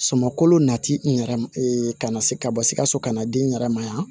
Suman kolo na ti n yɛrɛ ka na se ka bɔ sikaso ka na di n yɛrɛ ma yan